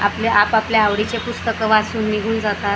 आपल्या आपापल्या आवडीचे पुस्तक वाचून निघून जातात --